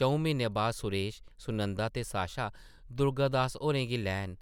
चʼऊं म्हीनें बाद सुरेश, सुनंदा ते साशा दुर्गा दास होरें गी लैन